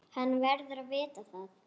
Hann verður að vita það.